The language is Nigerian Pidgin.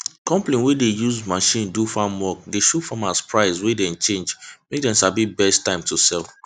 companies wey dey use machine do farm work dey show farmers price wey dey change mak dem sabi best time to sell